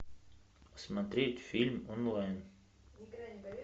смотреть фильм онлайн